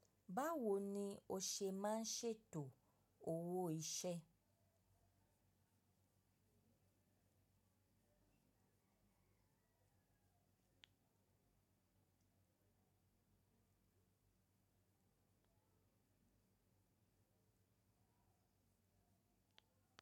Báwo ni o ṣe máa ṣètò owó iṣẹ́?